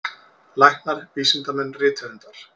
Læknar, vísindamenn, rithöfundar.